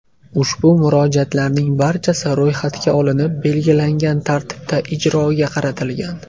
Ushbu murojaatlarning barchasi ro‘yxatga olinib, belgilangan tartibda ijroga qaratilgan.